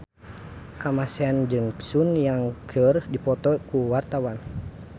Kamasean jeung Sun Yang keur dipoto ku wartawan